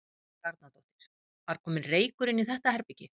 Helga Arnardóttir: Var kominn reykur inn í þetta herbergi?